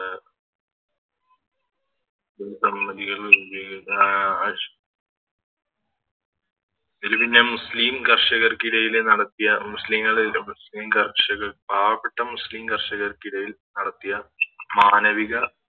ആഹ് ഇത് പിന്നെ മുസ്ലിം കർഷകർക്കിടയില് നടത്തിയ മുസ്ലിങ്ങളെ മുസ്ലിം കർഷകർ പാവപ്പെട്ട മുസ്ലിം കർഷകർക്കിടയിൽ നടത്തിയ മാനവിക